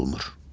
olmur.